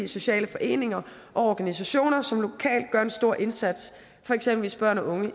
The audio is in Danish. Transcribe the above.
sociale foreninger og organisationer som lokalt gør en stor indsats for eksempel hvis børn og unge